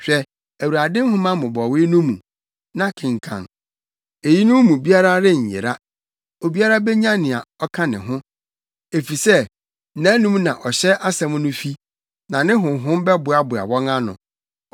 Hwɛ Awurade nhoma mmobɔwee no mu, na kenkan: Eyinom mu biara renyera, obiara benya nea ɔka ne ho. Efisɛ nʼanom na ɔhyɛ asɛm no fi, na ne honhom bɛboaboa wɔn ano.